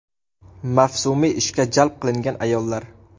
Mavsumiy ishga jalb qilingan ayollar.